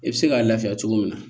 I bɛ se k'a lafiya cogo min na